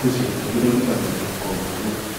bó tilẹ jẹ pé dọkítà ló gbọdọ kọ òògùn náà